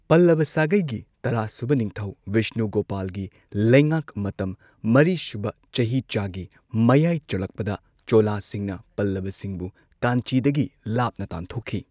ꯄꯜꯂꯚꯥ ꯁꯥꯒꯩꯒꯤ ꯇꯔꯥ ꯁꯨꯕ ꯅꯤꯡꯊꯧ ꯚꯤꯁꯅꯨꯒꯣꯄꯥꯜꯒꯤ ꯂꯩꯉꯥꯛ ꯃꯇꯝ, ꯃꯔꯤ ꯁꯨꯕ ꯆꯍꯤꯆꯥꯒꯤ ꯃꯌꯥꯏ ꯆꯜꯂꯛꯄꯗ ꯆꯣꯂꯥꯁꯤꯡꯅ ꯄꯜꯂꯚꯥꯁꯤꯡꯕꯨ ꯀꯥꯟꯆꯤꯗꯒꯤ ꯂꯥꯞꯅ ꯇꯥꯟꯊꯣꯛꯈꯤ꯫